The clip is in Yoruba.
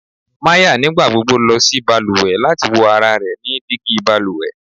Maya nigbagbogbo lọ si baluwe lati wo ara rẹ ni digi baluwe